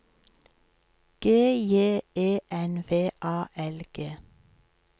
G J E N V A L G